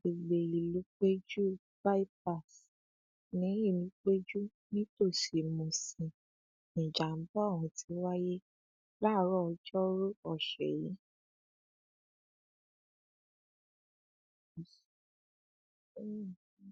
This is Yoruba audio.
mo ko um ọkọ mi lójú ó ní kí n pa òun um sílé kí n má pariwo síta